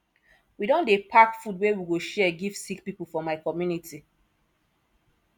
we don dey pack food wey we go share give sick pipo for my community